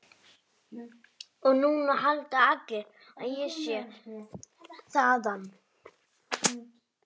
Og núna halda allir að ég sé þaðan.